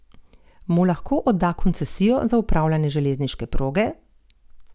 Mu lahko odda koncesijo za upravljanje železniške proge?